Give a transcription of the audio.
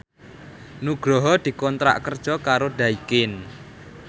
Nugroho dikontrak kerja karo Daikin